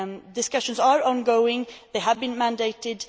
Discussions are ongoing. They have been mandated.